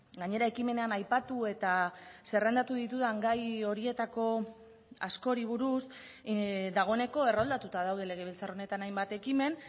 gainera ekimenean aipatu eta zerrendatu ditudan gai horietako askori buruz dagoeneko erroldatuta daude legebiltzar honetan hainbat ekimen